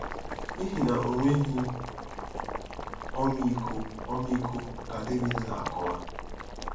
“N'ihi na o nweghị ọmịiko ọmịiko, ka Devid na-akọwa.